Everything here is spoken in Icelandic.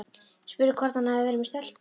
Spurði hvort hann hefði verið með stelpu.